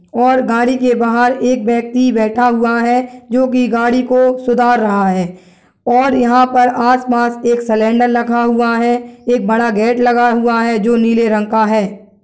और गाड़ी के बाहर एक व्यक्ति बैठा हुआ है जो की गाड़ी को सुधार रहा है और यहाँ पर आसपास एक सिलेंडर रखा हुआ है | एक बड़ा गेट लगा हुआ है जो नीले रंग का है।